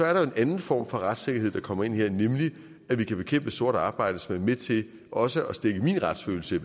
er der jo en anden form for retssikkerhed der kommer ind her nemlig at vi kan bekæmpe sort arbejde som i med til også at stikke i min retsfølelse